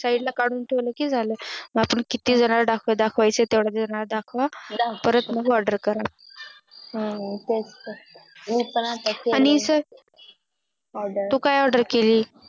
Side ला काढून ठेवल कि झाल म्हणजे आपण किती किती लोकांना दाखव अदखव दाखवायचे ते दाखवा परत मग Order करा हम्म तेच तर मी पण आणि तू काय Order केली